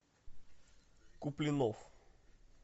куплинов